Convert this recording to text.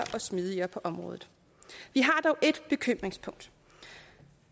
og smidigere på området vi har dog et bekymringspunkt